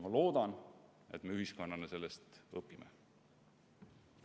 Ma loodan, et me ühiskonnana sellest õpime.